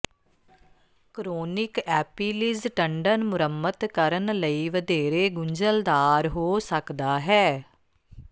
chronic Achilles tendon ਮੁਰੰਮਤ ਕਰਨ ਲਈ ਵਧੇਰੇ ਗੁੰਝਲਦਾਰ ਹੋ ਸਕਦਾ ਹੈ